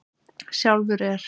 Sjálfur er